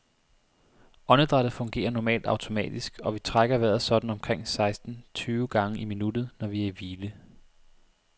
Åndedrættet fungerer normalt automatisk, og vi trækker vejret sådan omkring seksten tyve gange i minuttet, når vi er i hvile.